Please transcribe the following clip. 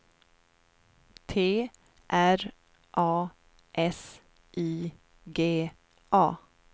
T R A S I G A